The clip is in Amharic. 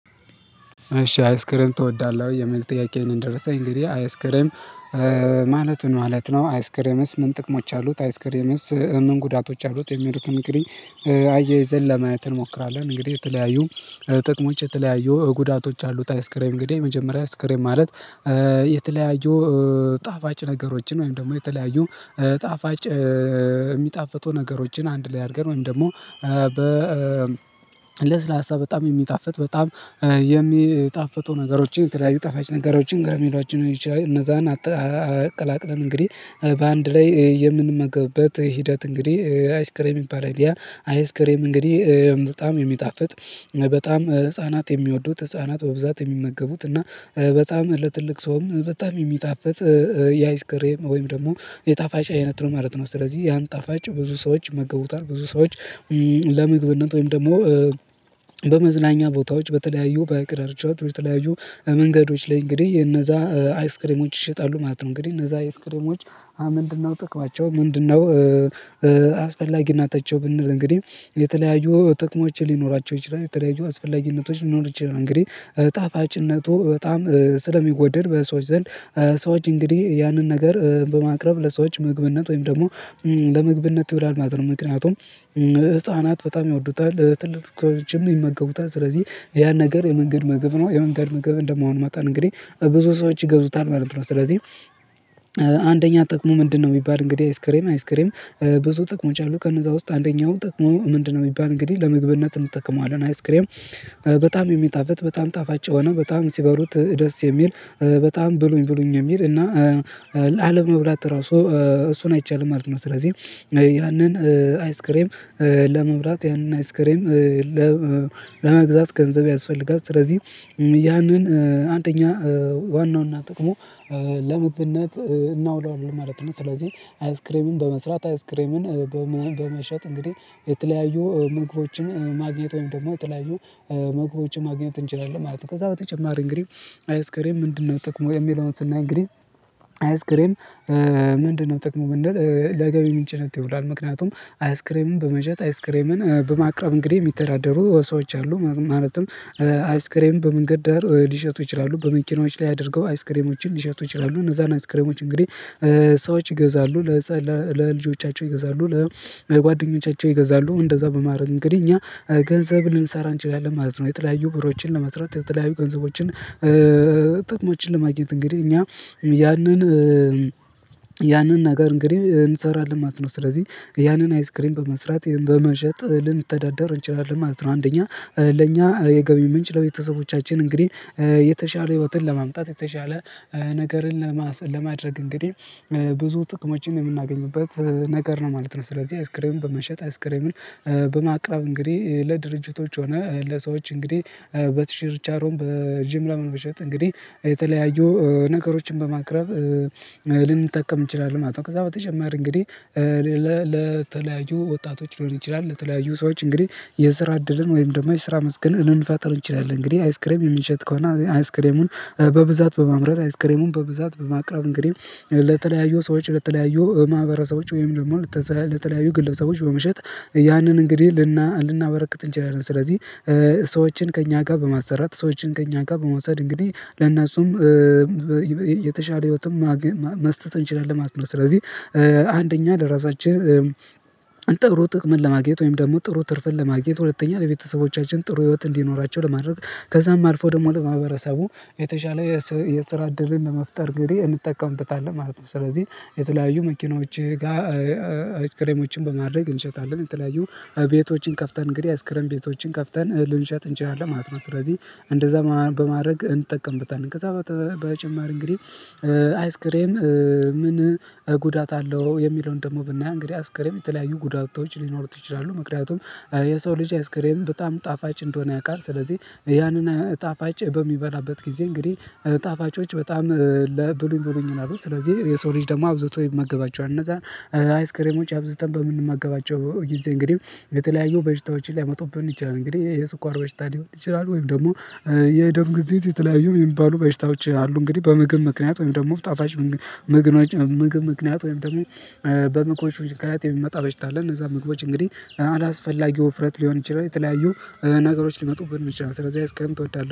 እሺ አይስክሬም ትወዳለህ ወይ የሚል ጥያቄ ነው። የደረሰኝ እንግዲህ አይስክሬም ማለት ምን ማለት ነው? አይስክሬምስ ምን ጥቅሞች አሉት አይስክሬምስ ምን ጉዳቶች አሉት? የሚሉትን እንግዲህ አያይዘን ለማየት እንሞክራለን። እንግዲህ የተለያዩ ጥቅሞች የተለያዩ ጉዳቶች አሉት። አይስክሬም እንግዲህ የመጀመሪያ አይስክሬም ማለት የተለያዩ ጣፋጭ ነገሮችን ወይም ደግሞ የተለያዩ ጣፋጭ የሚጣፍቱ ነገሮችን አንድ ላይ አድርገን ወይም ደግሞ በ ለስላሳ በጣም የሚጣፍጥ በጣም የሚጣፍጡ ነገሮችን የተለያዩ ጠፋጭ ነገሮችን ገረሜላውችን ሊሆን ይችላል እነዛን አቀላቅለን እንግዲህ በአንድ ላይ የምንመገብበት ሂደት እንግዲህ አይስክሬም ይባላል። ያ አይስክሬም እንግዲህ በጣም የሚጣፍጥ በጣም ህፃናት የሚወዱት ህፃናት በብዛት የሚመገቡት እና በጣም ለትልቅ ሰውም በጣም የሚጣፍጥ የአይስክሬም ወይም ደግሞ የጣፋጭ አይነት ነው ማለት ነው። ስለዚህ ያን ጣፋጭ ብዙ ሰዎች ይመገቡታል ብዙ ሰዎች ለምግብነት ወይም ደግሞ በመዝናኛ ቦታዎች በተለያዩ በሃይቅ ዳርቻዎች በተለያዩ መንገዶች ላይ እንግዲህ እነዛ አይስክሬሞች ይሸጣሉ ማለት ነው። እንግዲህ እነዛ አይስክሬሞች ምንድነው ጥቅማቸው ምንድነው? አስፈላጊነታቸው ብንል እንግዲህ የተለያዩ ጥቅሞች ሊኖራቸው ይችላል የተለያዩ አስፈላጊነቶች ሊኖር ይችላል። እንግዲህ ጣፋጭነቱ በጣም ስለሚወደድ በሰዎች ዘንድ ሰዎች እንግዲህ ያንን ነገር በማቅረብ ለሰዎች ምግብነት ወይም ደግሞ ለምግብነት ይውላል ማለት ነው። ምክንያቱም ህፃናት በጣም ይወዱታል ትልቅ ልጅም ይመገቡታል። ስለዚህ ያን ነገር የመንገድ ምግብ ነው የመንገድ ምግብ እንደመሆኑ መጠን እንግዲህ ብዙ ሰዎች ይገዙታል ማለት ነው። ስለዚህ አንደኛ ጥቅሙ ምንድነው የሚባል እንግዲህ አይስክሬም አይስክሬም ብዙ ጥቅሞች አሉ ከነዛ ውስጥ አንደኛው ጥቅሙ ምንድነው? የሚባል እንግዲህ ለምግብነት እንጠቀመዋለን። አይስክሬም በጣም የሚጣፍጥ በጣም ጣፋጭ የሆነ በጣም ሲበሉት ደስ የሚል በጣም ብሉኝ ብሉኝ የሚል እና ለመብላት ራሱ እሱን አይቻልም ማለት ነው። ስለዚህ ያንን አይስክሬም ለመብላት ያንን አይስክሬም ለመግዛት ገንዘብ ያስፈልጋል። ስለዚህ ያንን አንደኛ ዋናው እና ጥቅሙ ለምግብነት እናውለዋለን ማለት ነው። ስለዚህ አይስክሬምን በመስራት አይስክሬምን በመሸጥ እንግዲህ የተለያዩ ምግቦችን ማግኘት ወይም ደግሞ የተለያዩ ምግቦችን ማግኘት እንችላለን ማለት ነው። ከዛ በተጨማሪ እንግዲህ አይስክሬም ምንድነው? ጥቅሙ የሚለው ስናይ እንግዲህ አይስክሬም ምንድነው ጥቅሙ ብንል ለገቢ ምንጭነት ይውላል። ምክንያቱም አይስክሬምን በመሸጥ አይስክሬምን በማቅረብ እንግዲህ የሚተዳደሩ ሰዎች አሉ። ማለትም አይስክሬም በመንገድ ዳር ሊሸጡ ይችላሉ። በመኪናዎች ላይ አድርገው አይስክሬሞችን ሊሸጡ ይችላሉ። እነዛን አይስክሬሞች እንግዲህ ሰዎች ይገዛሉ ለልጆቻቸው ይገዛሉ ለጓደኞቻቸው ይገዛሉ እንደዛ በማድረግ እንግዲህ እኛ ገንዘብ ልንሰራ እንችላለን ማለት ነው። የተለያዩ ብሮችን ለመስራት የተተለያዩ ገንዘቦችን ጥቅሞችን ለማግኘት እንግዲህ እኛ ያንን ያንን ነገር እንግዲህ እንሰራለን ማለት ነው። ስለዚህ ያንን አይስክሪም በመስራት በመሸጥ ልንተዳደር እንችላለን ማለት ነው። አንደኛ ለኛ የገቢ ምንጭ ለቤተሰቦቻችን እንግዲህ የተሻለ ህይወትን ለማምጣት የተሻለ ነገርን ለማድረግ እንግዲህ ብዙ ጥቅሞችን የምናገኝበት ነገር ነው ማለት ነው። ስለዚህ አይስክሬም በመሸጥ አይስክሬምን በማቅረብ እንግዲህ ለድርጅቶች ሆነ ለሰዎች እንግዲህ በችርቻሮም በጅምላም በመሸጥ እንግዲህ የተለያዩ ነገሮችን በማቅረብ ልንጠቀም እንችላለን ማለት ነው። ከዛ በተጨማሪ እንግዲህ ለተለያዩ ወጣቶች ሊሆን ይችላል። ለተለያዩ ሰዎች እንግዲህ የስራ እድልን ወይም ደግሞ የስራ መስክን ልንፈጠር እንችላለን። እንግዲህ አይስክሬም የምነሸጥ ከሆነ አይስክሬሙን በብዛት በማምረት አይስክሬሙን በብዛት በማቅረብ እንግዲህ ለተለያዩ ሰዎች ለተለያዩ ማህበረሰቦች ወይም ደግሞ ለተለያዩ ግለሰቦች በመሸጥ ያንን እንግዲህ ልናበረክት እንችላለን። ስለዚህ ሰዎችን ከእኛ ጋር በማሰራት ሰዎችን ከእኛ ጋር በመውሰድ እንግዲህ ለእነሱም የተሻለ ህይወትም መስጠት እንችላለን ማለት ነው። ስለዚህ አንደኛ ለራሳችን ጥሩ ጥቅምን ለማግኘት ወይም ደግሞ ጥሩ ትርፍን ለማግኘት ሁለተኛ ለቤተሰቦቻችን ጥሩ ህይወት እንዲኖራቸው ለማድረግ ከዛም አልፎ ደግሞ ለማህበረሰቡ የተሻለ የስራ እድልን ለመፍጠር እንግዲህ እንጠቀምበታለን ማለት ነው። ስለዚህ የተለያዩ መኪኖች ጋር አይስክሬሞችን በማድረግ እንሸጣለን። የተለያዩ ቤቶችን ከፍተን እንግዲህ አይስክሬም ቤቶችን ከፍተን ልንሸጥ እንችላለን ማለት ነው። ስለዚህ እንደዛ በማድረግ እንጠቀምበታለን። ከዛ በተጨማሪ እንግዲህ አይስክሬም ምን ጉዳት አለው? የሚለውን ደግሞ ብናይ እንግዲህ አይስክሬም የተለያዩ ጉዳቶች ሊኖሩት ይችላሉ። ምክንያቱም የሰው ልጅ አይስክሬም በጣም ጣፋጭ እንደሆነ ያውቃል ስለዚህ ያንን ጣፋጭ በሚበላበት ጊዜ እንግዲህ ጣፋጮች በጣም ብሉኝ ብሉኝ ይላሉ። ስለዚህ የሰው ልጅ ደግሞ አብዝቶ ይመገባቸዋል። እነዛ አይስክሬሞች አብዝተን በምንመገባቸው ጊዜ እንግዲህ የተለያዩ በሽታዎችን ሊያመጡብን ይችላሉ። እንግዲህ የስኳር በሽታ ሊሆን ይችላሉ። ወይም ደግሞ የደም ግፊት የተለያዩ የሚባሉ በሽታዎች አሉ። እንግዲህ በምግብ ምክንያት ወይም ደግሞ ጣፋጭ ምግብ ምክንያት ወይም ደግሞ በምግቦች ምክንያት የሚመጣ በሽታ አለ። እነዛ ምግቦች እንግዲህ አላስፈላጊ ውፍረት ሊሆን ይችላል። የተለያዩ ነገሮች ሊመጡብን ይችላል። ስለዚህ አይስክሬም ትወዳ